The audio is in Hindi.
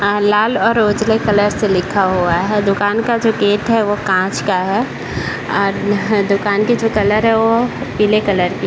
लाल और उजला कलर से लिखा हुआ है दुकान का जो गेट है वह कांच का है और दुकान के जो कलर है वो पीले कलर की --